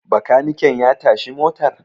bakaniken ya tashi motar?